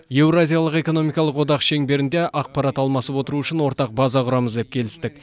еуразиялық экономикалық одақ шеңберінде ақпарат алмасып отыру үшін ортақ база құрамыз деп келістік